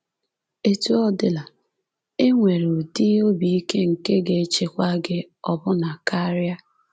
Etu ọ dịla, e nwere ụdị obi ike nke ga-echekwa gị ọbụna karịa.